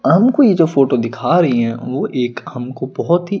हमको ये जो फोटो दिखा री है वो एक हमको बहोत ही--